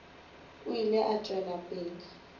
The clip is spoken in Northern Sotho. o ile a tšwela pele